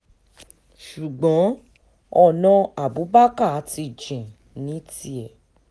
ṣùgbọ́n ọ̀nà abubakar ti jìn ní tiẹ̀